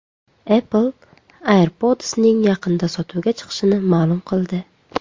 Apple Airpods’ning yaqinda sotuvga chiqishini ma’lum qildi.